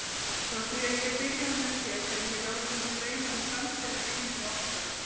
Frá því að ég byrjaði með þér hef ég látið mig dreyma um framtíðarheimili okkar.